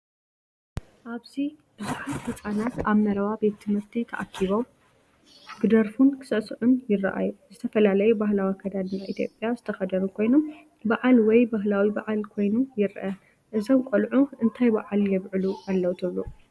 ኣብዚ ብዙሓት ህጻናት ኣብ መረባ ቤት ትምህርቲ ተኣኪቦም ክደርፉን ክሳዕስዑን ይረኣዩ። ዝተፈላለየ ባህላዊ ኣከዳድና ኢትዮጵያ ዝተኸድኑ ኮይኖም፡ በዓል ወይ ባህላዊ በዓል ኮይኑ ይረአ። እዞም ቆልዑ እንታይ በዓል የብዕሉ ኣለዉ ትብሉ?